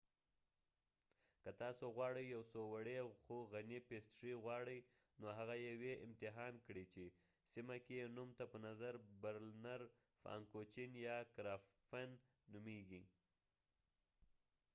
که تاسو غواړې یو څو وړې خو غني پېسټرۍ غواړئ نو هغه یوې امتحان کړئ چې سیمه کې يې نوم ته په نظر برلنر فانکوچېن یا کراپفن نومیږي